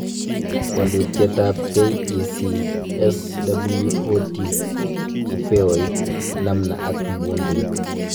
Walutietab KEC SWOT-Upeoit, namna ak muundoit